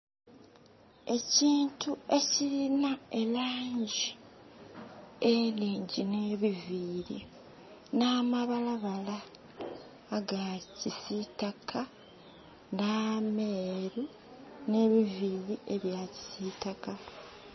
Ekintu ekilina elaangi enhingyi nh'ebiviiri, nh'amabalabala aga kisiitaka, nh'ameeru, nh'ebiviiri ebya kisiitaka.